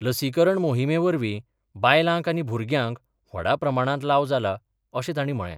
लसीकरण मोहिम्मेवरवी बायलांक आनी भूरग्यांक व्हडा प्रमाणात लाव जाला अशें ताणी म्हळे.